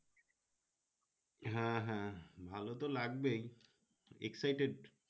হ্যাঁ হ্যাঁ ভালো তো লাগবেই excited